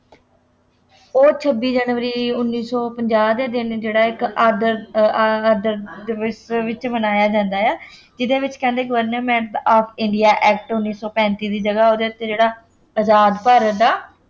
ਉਹ ਛੱਬੀ ਜਨਵਰੀ ਉੱਨੀ ਸੌ ਪੰਜਾਹ ਦੇ ਦਿਨ ਜਿਹੜਾ ਇੱਕ ਆਦਰ ਆ~ ਆਦਰ ਦੇ ਵਿੱਚ ਦੇ ਵਿੱਚ ਮਨਾਇਆ ਜਾਂਦਾ ਹੈ, ਜਿਹਦੇ ਵਿੱਚ ਕਹਿੰਦੇ Government of India Act ਉੱਨੀ ਸੌ ਪੈਂਤੀ ਦੀ ਜਗ੍ਹਾ ਉਹਦੇ ਉੱਤੇ ਜਿਹੜਾ ਆਜ਼ਾਦ ਭਾਰਤ ਦਾ